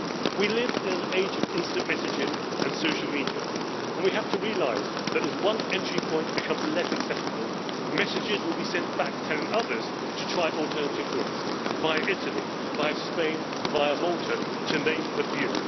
We live in an age of instant messaging and social media, and we have to realise that as one entry point becomes less accessible, messages will be sent back telling others to try alternative routes via Italy, Spain or Malta, to name a just few.